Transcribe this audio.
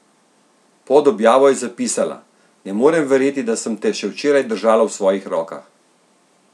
Pod objavo je zapisala: "Ne morem verjeti, da sem te še včeraj držala v svojih rokah!